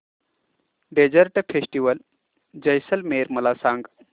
desert festival Jaisalmer मला सांग